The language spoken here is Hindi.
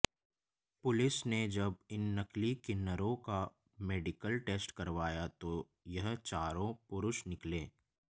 पुलिस ने जब इन नकली किन्नरों का मेडिकल टेस्ट करवाया तो यह चारों पुरुष निकले